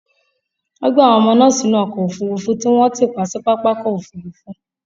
Wọ́n gbé àwọn ọmọ náà sínú ọkọ̀ òfurufú tí wọ́n ti pa sí pápákọ̀ òfurufú.